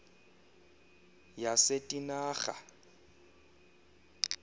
yasetinarha